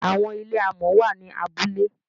Àwọn ilé alámọ̀ wà ní abúlé.